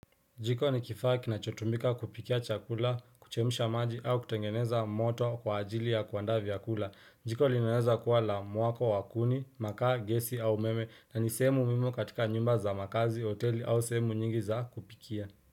Jiko ni kifaa kinachotumika kupikia chakula, kuchemsha maji au kutengeneza moto kwa ajili ya kuandaa vyakula. Jiko linaweza kuwa la muwako wa kuni, makaa, gesi au umeme na ni sehemu muhimu katika nyumba za makazi, hoteli au sehemu nyingi za kupikia.